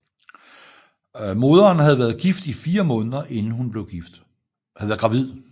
Moderen havde været gravid i 4 måneder inden hun blev gift